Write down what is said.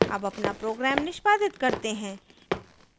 अब अपना program निष्पादित करते हैं